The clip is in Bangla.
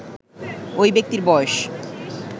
ওই ব্যক্তির বয়স